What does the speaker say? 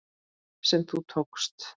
sem þú tókst.